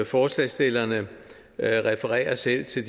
forslagsstillerne refererer selv til